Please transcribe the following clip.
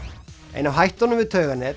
ein af hættunum við